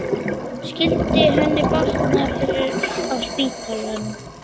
Skyldi henni batna fyrr á spítalanum?